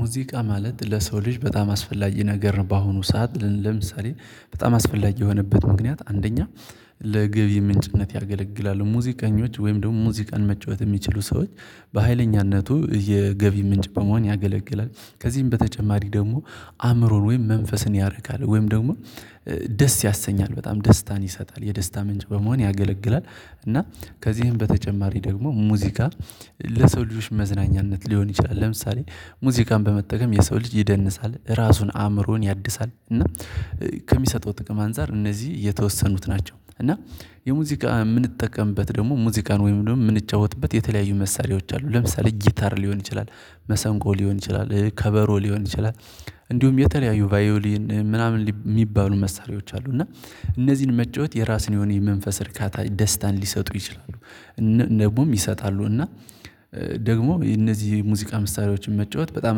ሙዚቃ ማለት ለሰው ልጅ በጣም አስፈላጊ ነገር ነው። በአሁኑ ሰዓት ለምሳሌ በጣም አስፈላጊ የሆነበት ምክንያት አንደኛ ለግብ ምንጭነት ያገለግላሉ ሙዚቀኞች ወይም ደግሞ ሙዚቃን መጫወት እሚችሉ ሰዎች በሃይለኛነቱ የገቢ ምንጭ በመሆን ያገለግላል። ከዚህም በተጨማሪ ደግሞ አእምሮን ወይም መንፈስን ያረካል ወይም ደግሞ ደስ ያሰኛል በጣም ደስታን ይሰጣል የደስታ ምንጭ በመሆን ያገለግላል። እና ከዚህም በተጨማሪ ደግሞ ሙዚቃ ለሰው ልጆች መዝናኛነት ሊሆን ይችላል። ለምሳሌ ሙዚቃን በመጠቀም የሰው ልጅ ይደንሳል ራሱን አእምሮን ያድሳል እና ከሚሰጠው ጥቅም አንፃር እነዚህ የተወሰኑት ናቸው። እና የሙዚቃ እምንጠቀምበት ደግሞ ሙዚቃን ወይም ደግሞ እምንጫወትበት የተለያዩ መሳሪያዎች አሉ ለምሳሌ ጊታር ሊሆን ይችላል። መሰንቆ ሊሆን ይችላል ከበሮ ሊሆን ይችላል እንዲሁም የተለያዩ ቫዮሊን ምናምን እሚባሉ መሳሪያዎች አሉ። እና እነዚህን መጫወት የራስን የሆነ የመንፈስ እርካታ ደስታን ሊሰጡ ይችላሉ። ደግሞም ይሰጣሉ እና ደግሞ የነዚህ ሙዚቃ ምሳሌዎችን መጫወት በጣም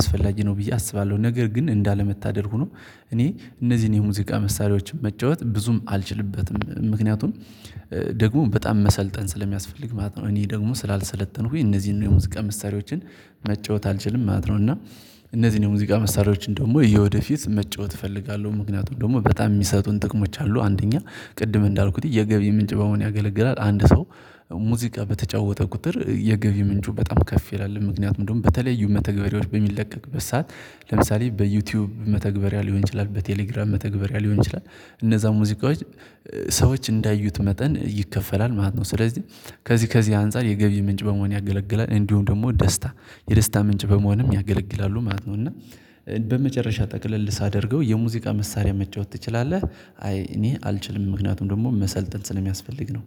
አስፈላጊ ነው ብዬ አስባለሁ። ነገር ግን እንዳለመታደል ሁኖ እኔ እነዚህን የሙዚቃ መሳሪያዎችን መጫወት ብዙም አልችልበትም ምክንያቱም ደግሞ በጣም መሰልጠን ስለሚያስፈልግ ማለት ነው። እኔ ደግሞ ስላልሰለተንኩኝ እነዚህን የሙዝ ቀን መሳሪያዎችን መጫወት አልችልም ማለት ነው። እና እነዚህን የሙዚቃ መሳሪያዎችን ደግሞ የወደፊት መጫወት እፈልጋለሁ ምክንያቱም ደግሞ በጣም እሚሰጡን ጥቅሞች አሉ። አንደኛ ቅድም እንዳልኩት የገቢ ምንጭ በመሆን ያገለግላል አንድ ሰው በተጫወተ ቁጥር የገቢ ምንጩ በጣም ከፍ ይላል ምክንያት ምንድነው? በተለያዩ መተግበሪያዎች በሚለቀቅበት ሰዓት ለምሳሌ በዩቲዩብ መተግበሪያ ሊሆን ይችላል በቴሌግራም መተግበሪያ ሊሆን ይችላል እነዛ ሙዚቃዎች ሰዎች እንዳዩት መጠን ይከፈላል ማለት ነው። ስለዚህ ከዚህ ከዚህ አንፃር የገቢ ምንጭ በመሆን ያገለግላል እንዲሁም ደግሞ ደስታ የደስታ ምንጭም በመሆንም ያገለግላሉ ማለት ነው። እና በመጨረሻ ጠቅለል ሳደርገው የሙዚቃ መሳሪያ መጫወት ትችላለህ? አይ እኔ አልችልም ምክንያቱም ደግሞ መሰልጠን ስለሚያስፈልግ ነው